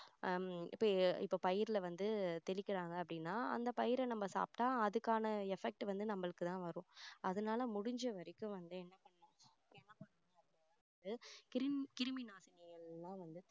ஹம் இப்போ இப்போ பயிர்ல வந்து தெளிக்கிறாங்க அப்படின்னா அந்த பயிரை நம்ம சாப்பிட்டா அதுக்கான effect வந்து நம்மளுக்குதான் வரும் அதனால முடிஞ்ச வரைக்கும் வந்து என்ன பண்ணணும்னா வந்து கிருமி கிருமிநாசினியை எல்லாம் வந்து